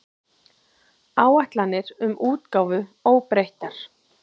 Áætlanir um útgáfu óbreyttar